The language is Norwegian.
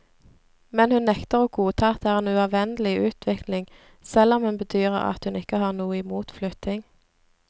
Men hun nekter å godta at det er en uavvendelig utvikling, selv om hun bedyrer at hun ikke har noe i mot flytting.